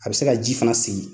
A bɛ se ka ji fana segi.